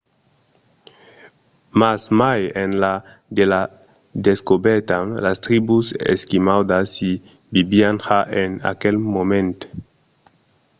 mas mai enlà de sa descobèrta las tribus esquimaudas i vivián ja en aquel moment